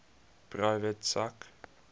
private sak